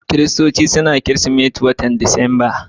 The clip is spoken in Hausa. Kiristoci na yin Kirsimeti a watan Disamba.